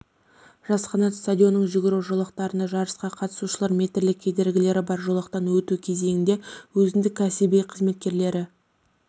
жас қанат стадионының жүгіру жолақтарында жарысқа қатысушылар метрлік кедергілері бар жолақтан өту кезінде өзіндік кәсіби қасиеттері